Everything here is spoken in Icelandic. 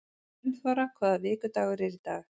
Gunnþóra, hvaða vikudagur er í dag?